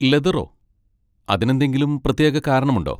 ലെതറോ? അതിനെന്തെങ്കിലും പ്രത്യേക കാരണം ഉണ്ടോ?